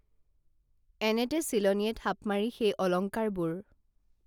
এনেতে চিলনীয়ে থাপ মাৰি সেই অলংকাৰবোৰ